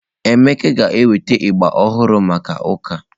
Emeka ga-enweta agba ọhụrụ maka ụka.